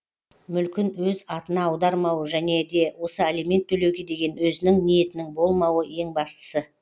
мүлкін өз атына аудармауы және де осы алимент төлеуге деген өзінің ниетінің болмауы ең бастысы